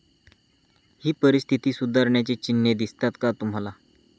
ही परिस्थिती सुधारण्याची चिन्हे दिसतात का तुम्हाला?